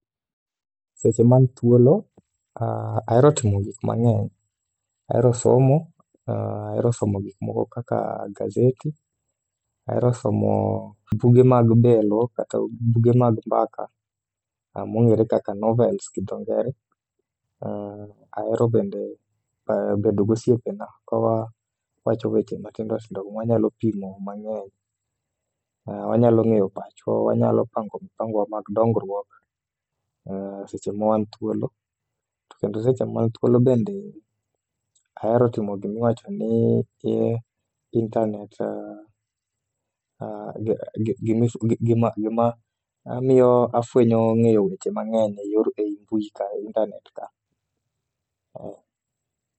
Seche ma an thuolo ahero timo gik mang'eny. Ahero somo, ahero somo gikmoko kaka gazeti, ahero somo buge mag belo kaka buge mag mbaka mong'ere kaka novels gi dho ngere. Ahero bende bedo gosiepena ka wawachogo weche matindotindo mwanyalo pimo mang'eny, wanyalo ng'eyo pachwa, wanyalo pango mpangowa mag dongruok seche ma wan thuolo. To kendo seche ma an thuolo bende ahero timo gima miyo afwenyo ng'eyo weche mang'eny e i mbui ka, e intanet ka.